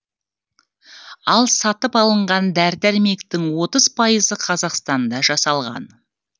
ал сатып алынған дәрі дәрмектің отыз пайызы қазақстанда жасалған